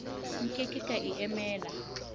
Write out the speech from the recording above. nke ke ka e emela